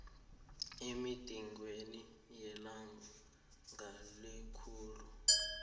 emigidingweni yelanga lekululeko